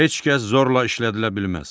Heç kəs zorla işlədilə bilməz.